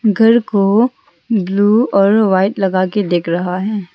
घर को ब्लू और व्हाइट लगा के दिख रहा है।